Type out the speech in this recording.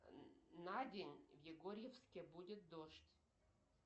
на день в егорьевске будет дождь